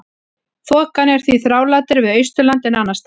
Þokan er því þrálátari við Austurland en annars staðar.